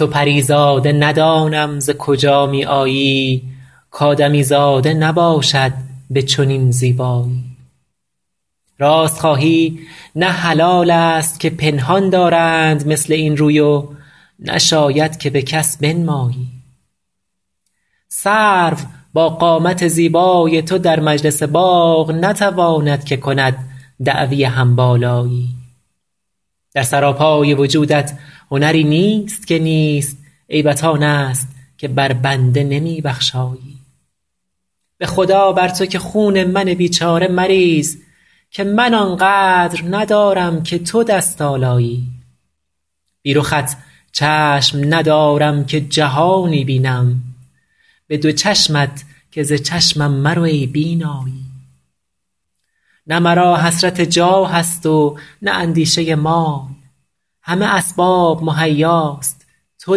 تو پری زاده ندانم ز کجا می آیی کآدمیزاده نباشد به چنین زیبایی راست خواهی نه حلال است که پنهان دارند مثل این روی و نشاید که به کس بنمایی سرو با قامت زیبای تو در مجلس باغ نتواند که کند دعوی هم بالایی در سراپای وجودت هنری نیست که نیست عیبت آن است که بر بنده نمی بخشایی به خدا بر تو که خون من بیچاره مریز که من آن قدر ندارم که تو دست آلایی بی رخت چشم ندارم که جهانی بینم به دو چشمت که ز چشمم مرو ای بینایی نه مرا حسرت جاه است و نه اندیشه مال همه اسباب مهیاست تو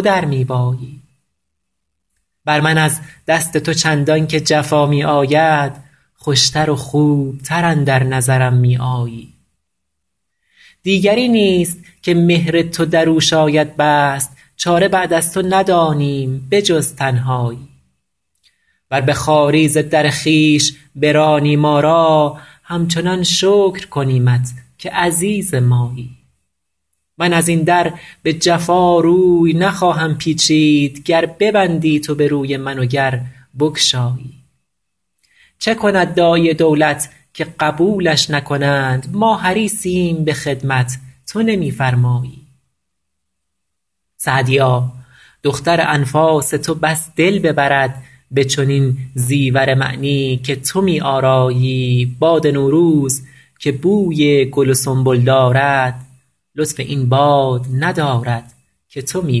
در می بایی بر من از دست تو چندان که جفا می آید خوش تر و خوب تر اندر نظرم می آیی دیگری نیست که مهر تو در او شاید بست چاره بعد از تو ندانیم به جز تنهایی ور به خواری ز در خویش برانی ما را همچنان شکر کنیمت که عزیز مایی من از این در به جفا روی نخواهم پیچید گر ببندی تو به روی من و گر بگشایی چه کند داعی دولت که قبولش نکنند ما حریصیم به خدمت تو نمی فرمایی سعدیا دختر انفاس تو بس دل ببرد به چنین زیور معنی که تو می آرایی باد نوروز که بوی گل و سنبل دارد لطف این باد ندارد که تو می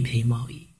پیمایی